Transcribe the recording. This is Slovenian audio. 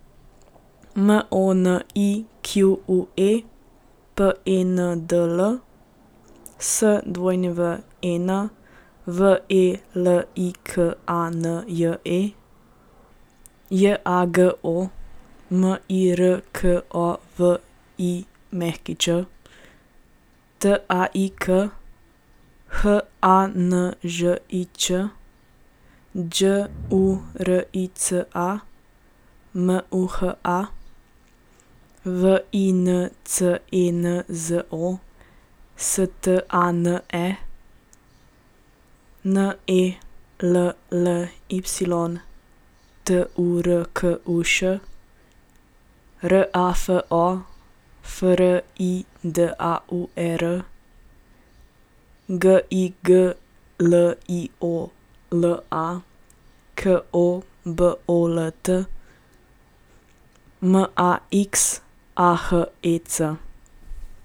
Monique Pendl, Swen Velikanje, Jago Mirković, Taik Hanžič, Đurica Muha, Vincenzo Stane, Nelly Turkuš, Rafo Fridauer, Gigliola Kobolt, Max Ahec.